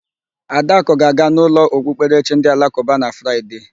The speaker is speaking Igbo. Adakụ ga-aga n'ụlọ okpukperechi ndị alakụba na Fraịde